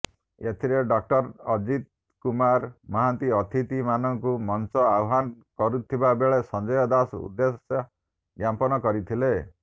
ଏଥିରେ ଡଃ ଅଜିତ୍ କୁମାର ମହାନ୍ତି ଅତିଥି ମାନଙ୍କୁ ମଞ୍ଚ ଆହ୍ୱାନ କରିଥିବା ବେଳେ ସଂଜୟ ଦାଶ ଉଦ୍ଦେଶ୍ୟଜ୍ଞାପନ କରିଥିଲେ